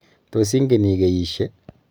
Tos ingen ikeyishe?